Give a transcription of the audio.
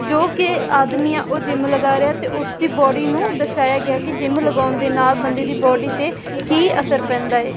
ਜੋ ਕਿ ਆਦਮੀ ਆਂ ਉਹ ਜਿੰਮ ਲਗਾ ਰਿਹਾ ਤੇ ਉਸਦੀ ਬਾਡੀ ਨੂੰ ਦਰਸਾਇਆ ਗਿਆ ਕਿ ਜਿਮ ਲਗਾਉਣ ਦੇ ਨਾਲ ਬੰਦੇ ਦੀ ਬਾਡੀ ਤੇ ਕੀ ਅਸਰ ਪੈਂਦਾ ਹੈ।